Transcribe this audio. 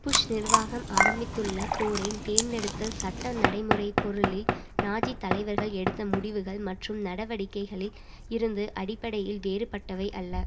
push நிர்வாகம் ஆரம்பித்துள்ள போரை தேர்ந்தெடுத்தல் சட்ட நடைமுறை பொருளில் நாஜி தலைவர்கள் எடுத்த முடிவுகள் மற்றும் நடவடிக்கைகளில் இருந்து அடிப்படையில் வேறுபட்டவை அல்ல